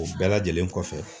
O bɛɛ lajɛlen kɔfɛ